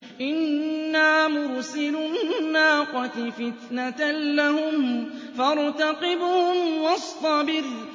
إِنَّا مُرْسِلُو النَّاقَةِ فِتْنَةً لَّهُمْ فَارْتَقِبْهُمْ وَاصْطَبِرْ